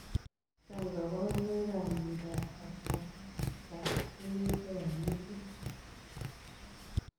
Chang kabarunoik ap miondoop kapwanetab kunyutik ap metit.